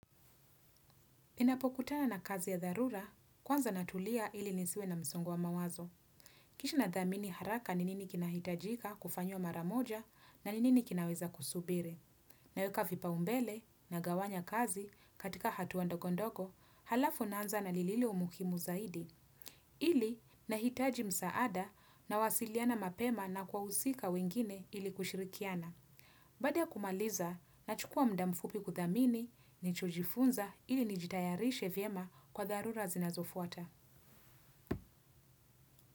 Ninapokutana na kazi ya dharura, kwanza natulia ili nisiwe na msongo wa mawazo. Kisha natathimini haraka ni nini kinahitajika kufanywa mara moja na nini kinaweza kusubiri. Naweka vipaumbele nagawanya kazi katika hatua ndogondogo, halafu naanza na lililo muhimu zaidi. Ili, nahitaji msaada nawasiliana mapema na wahusika wengine ili kushirikiana. Baada ya kumaliza nachukua mda mfupi kutathimini nilichojifunza ili nijitayarishe vyema kwa dharura zinazofuata.